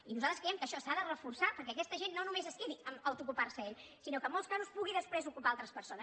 i nosaltres creiem que això s’ha de reforçar perquè aquesta gent no només es quedi amb el fet d’auto ocupar se ells sinó que en molts casos pugui després ocupar altres persones